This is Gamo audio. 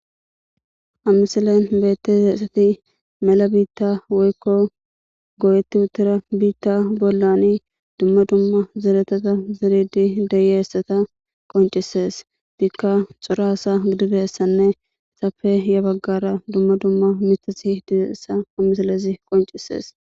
amisalen beette eesati mala biitta woykko go7etti utira biitta bollani dumma dumma zeretata zeridi deyeessata qoncisees diikka xoraasa gididessanne safe ya baggara dumma dumma mitasi dizeessa ammisalesi qoncisees